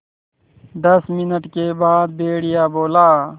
दस मिनट के बाद भेड़िया बोला